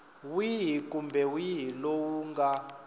wihi kumbe wihi lowu nga